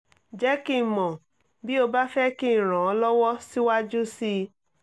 jẹ́ kí n mọ̀ bí o bá fẹ́ kí n ràn ọ́ lọ́wọ́ síwájú sí i